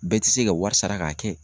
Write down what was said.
Bɛɛ ti se ka wari sara k'a kɛ.